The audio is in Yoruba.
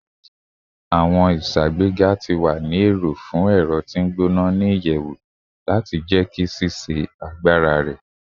Awọn iṣagbega ti wa ni ero fun ẹrọ ti ngbona ni iyẹwu lati jẹki ṣiṣe agbara rẹ